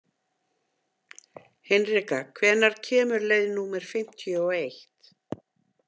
Hinrika, hvenær kemur leið númer fimmtíu og eitt?